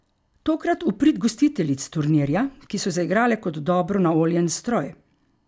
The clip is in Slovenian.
Tokrat v prid gostiteljic turnirja, ki so zaigrale kot dobro naoljen stroj.